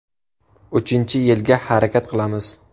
Uchinchi yilga harakat qilamiz.